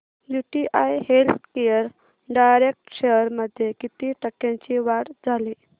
UTI healthcare direct shares मध्ये किती टक्क्यांची वाढ झाली